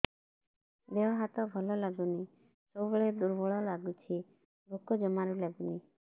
ଦେହ ହାତ ଭଲ ଲାଗୁନି ସବୁବେଳେ ଦୁର୍ବଳ ଲାଗୁଛି ଭୋକ ଜମାରୁ ଲାଗୁନି